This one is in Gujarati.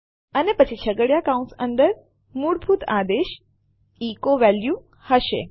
અને પછી છગડીયા કૌંસ અંદર મૂળભૂત આદેશ એચો વેલ્યુ હશે